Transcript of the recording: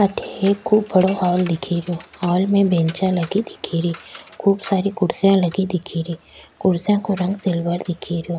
अठ एक खूब बड़ा हॉल दिखे रो हॉल में बेंचा लगी दिखे री खूब सारी कुर्सियां लगी दिखे री कुर्सियां को रंग सिल्वर दिखे रो।